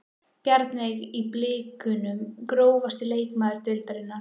Bjarnveig í blikunum Grófasti leikmaður deildarinnar?